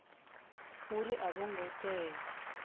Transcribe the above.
uri a vho ngo tea